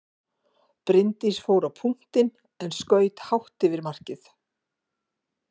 Bryndís fór á punktinn en skaut hátt yfir markið.